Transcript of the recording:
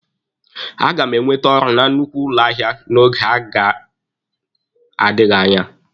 A ga m enwete ọrụ na nnukwu ụlọ ahịa n'oge na-adịghị anya.